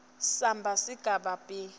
samba sesigaba b